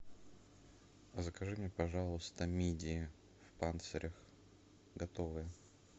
закажи мне пожалуйста мидии в панцирях готовые